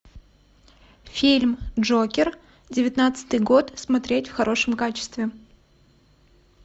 фильм джокер девятнадцатый год смотреть в хорошем качестве